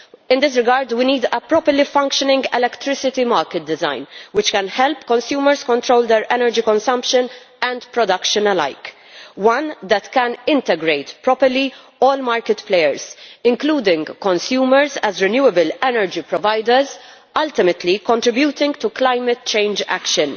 In this regard, we need a properly functioning electricity market design which can help consumers control their energy consumption and production alike one that can integrate properly all market players, including consumers as renewable energy providers, ultimately contributing to climate change action.